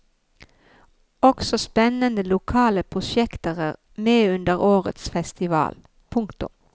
Også spennende lokale prosjekter er med under årets festival. punktum